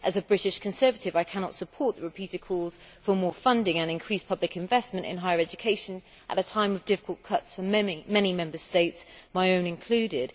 As a British Conservative, I cannot support the repeated calls for more funding and increased public investment in higher education at a time of difficult cuts for many Member States, my own included.